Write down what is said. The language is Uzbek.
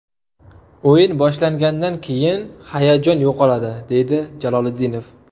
O‘yin boshlangandan keyin hayajon yo‘qoladi”, deydi Jaloliddinov.